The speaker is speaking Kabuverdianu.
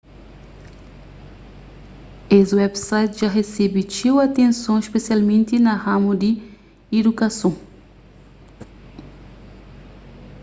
es websites dja resebe txeu atenson spesialmenti na ramu di idukason